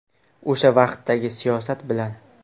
O‘sha vaqtdagi siyosat bilan.